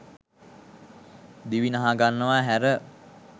දිවි නහගන්නවා ඇර